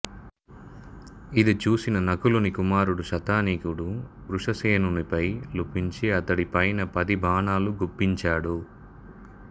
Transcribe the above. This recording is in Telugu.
ఇది చూసిన నకులుని కుమారుడు శతానీకుడు వృషసేనునిపై లంఘించి అతడి పైన పది బాణాలు గుప్పించాడు